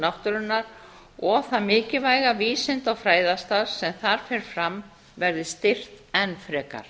náttúrunnar og að það mikilvæga vísinda og fræðastarf sem þar fer fram verði styrkt enn frekar